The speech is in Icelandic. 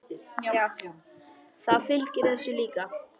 Það fylgir þessu líka.